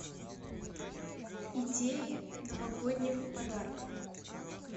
идеи новогодних подарков